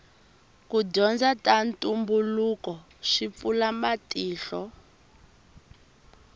ku dyondza ta ntumbuluko swi pfula matihlo